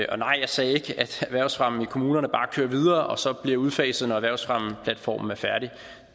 og nej jeg sagde ikke at erhvervsfremme i kommunerne bare kører videre og så bliver udfaset når erhvervsfremmeplatformen er færdig